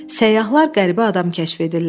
Səyyahlar qəribə adam kəşf edirlər.